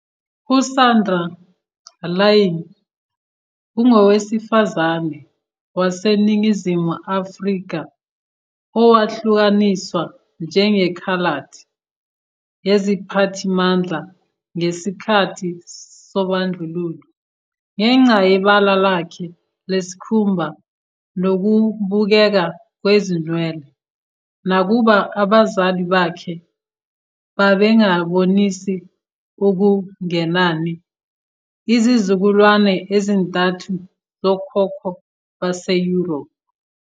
USandra Laing ungowesifazane waseNingizimu Afrika owahlukaniswa njengeKhaladi yiziphathimandla ngesikhathi sobandlululo, ngenxa yebala lakhe lesikhumba nokubukeka kwezinwele, nakuba abazali bakhe babengabonisa okungenani izizukulwane ezintathu zokhokho base-Europe.